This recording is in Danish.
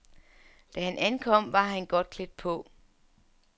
Da han ankom var han godt klædt på.